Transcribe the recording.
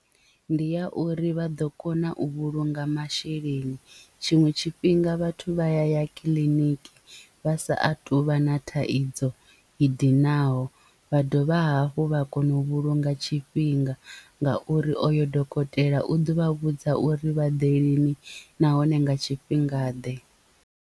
Ndi ya uri vha ḓo kona u vhulunga masheleni tshiṅwe tshifhinga vhathu vha ya ya kiḽiniki vha sa a tuvha na thaidzo i dinaho vha dovha hafhu vha kona u vhulunga tshifhinga ngauri oyo dokotela u ḓo vha vhudza uri vha ḓe lini nahone nga tshifhinga ḓe.